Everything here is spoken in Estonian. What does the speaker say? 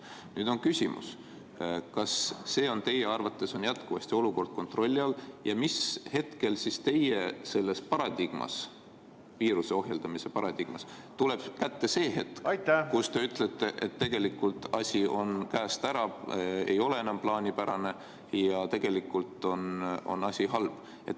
Nüüd on küsimus: kas olukord on teie arvates jätkuvalt kontrolli all ja mis hetkel teie viiruse ohjeldamise paradigmas tuleb kätte hetk, kui te ütlete, et tegelikult on asi käest ära, ei ole enam plaanipärane ja on halb?